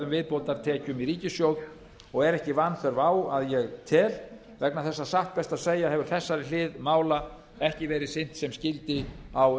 viðbótartekjum í ríkissjóð og er ekki vanþörf á að ég tel vegna þess að satt best að segja hefur þessari hlið mála ekki verið sinnt sem skyldi á